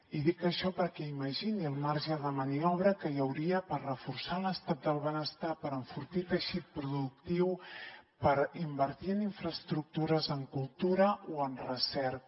i dic això perquè imagini el marge de maniobra que hi hauria per reforçar l’estat del benestar per enfortir el teixit productiu per invertir en infraestructures en cultura o en recerca